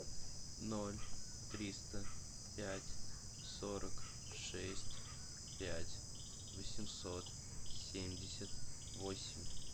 ноль триста пять сорок шесть пять восемьсот семьдесят восемь